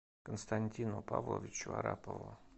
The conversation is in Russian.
константину павловичу арапову